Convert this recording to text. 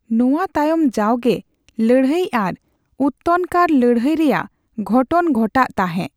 ᱱᱚᱣᱟ ᱛᱟᱭᱚᱢ ᱡᱟᱣᱜᱮ ᱞᱟᱹᱲᱦᱟᱹᱭ ᱟᱨ ᱩᱛᱛᱨᱷᱤᱠᱟᱨ ᱞᱟᱹᱲᱦᱟᱹᱭ ᱨᱮᱭᱟᱜ ᱜᱷᱚᱴᱚᱱ ᱜᱷᱚᱴᱟᱜ ᱛᱟᱸᱦᱮᱜ ᱾